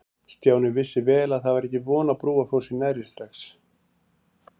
Stjáni vissi vel að það var ekki von á Brúarfossi nærri strax.